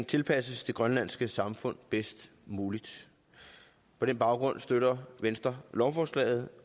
tilpasses det grønlandske samfund bedst muligt på den baggrund støtter venstre lovforslaget